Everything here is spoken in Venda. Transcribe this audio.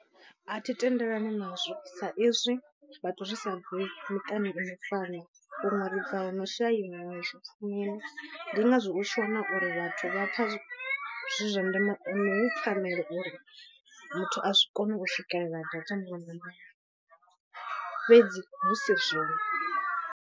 A thi tendelani nazwo sa izwi vhathu risa bvi miṱani ino fana huṅwe ribva huno shaiwa zwi pfumini ndi ngazwo u tshi wana uri vhathu vha pfha zwi zwa ndeme hu pfanelo uri muthu a zwi kone u swikelela data muṅwe na muṅwe fhedzi hu si zwone.